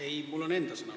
Ei, mul on enda sõnavõtt.